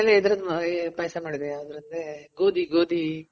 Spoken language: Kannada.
ನಮ್ಮನೇಲಿ ಇದ್ರುದ್ ಪಾಯ್ಸ ಮಾಡಿದ್ವಿ. ಯಾವ್ದ್ರುದ್ ಗೋದಿ ಗೋದಿ.